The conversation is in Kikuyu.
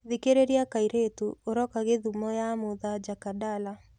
thikĩrirĩa kaĩrïtũ uroka gĩthumo ya mutha jakadala